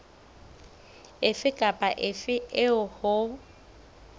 efe kapa efe eo ho